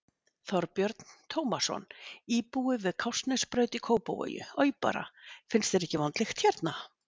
Þorbjörn Tómasson, íbúi við Kársnesbraut í Kópavogi: Oj bara, finnst þér ekki vond lykt hérna?